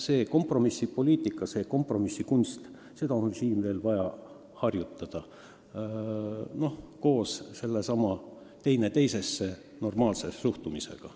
Kogu kompromissipoliitikat, kompromissikunsti on siin veel vaja harjutada, ja seda üksteisesse normaalselt suhtudes.